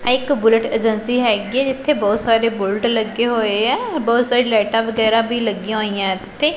ਐ ਇਕ Bullet agency ਹੈਗੀ ਇਥੇ ਬਹੁਤ ਸਾਰੇ ਬੁਲਟ ਲੱਗੇ ਹੋਏ ਆ ਬਹੁਤ ਸਾਰੀ ਲਾਈਟਾਂ ਵਗੈਰਾ ਵੀ ਲੱਗੀਆਂ ਹੋਈਆਂ ਇਥੇ।